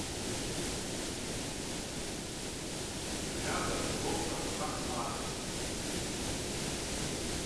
рядом доктор ахмад